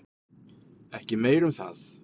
Ekki meira um það.